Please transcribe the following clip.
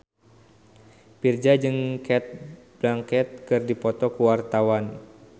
Virzha jeung Cate Blanchett keur dipoto ku wartawan